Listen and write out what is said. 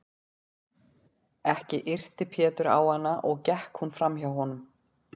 Ekki yrti Pétur á hana og gekk hún fram hjá honum.